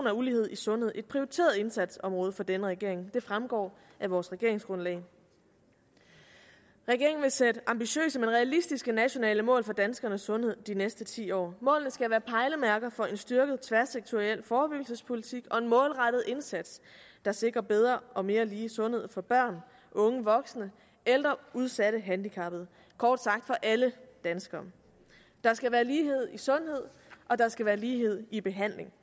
af ulighed i sundhed et prioriteret indsatsområde for denne regering det fremgår af vores regeringsgrundlag regeringen vil sætte ambitiøse men realistiske nationale mål for danskernes sundhed de næste ti år målene skal være pejlemærker for en styrket tværsektoriel forebyggelsespolitik og en målrettet indsats der sikrer bedre og mere lighed i sundhed for børn unge voksne ældre udsatte handicappede kort sagt for alle danskere der skal være lighed i sundhed og der skal være lighed i behandling